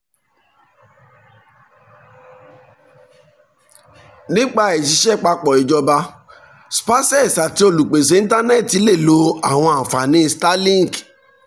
nípa ìṣiṣẹ́ papọ̀ ìjọba spacex àti olúpésé ìntánẹ́ti lè lo àwọn ànfàní starlink.